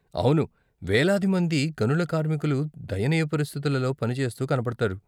అవును, వేలాది మంది గనుల కార్మికులు దయనీయ పరిస్థితులల్లో పనిచేస్తూ కనపడతారు.